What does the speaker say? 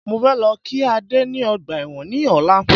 Mo fẹ́ lọ kí Ade ni ọgbà ẹ̀wọ̀n ní ọ̀la